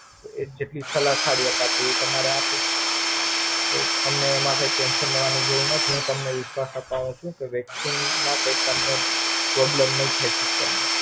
એ જેટલી સલાહ હારી અપાતી હોય તમારે હારું અમને એમાં કાય tension લેવાની જરૂર નથી હું તમને વિશ્વાસ અપાવું છું કે Vaccine માં કાય તમને problem નય થઈ શકે.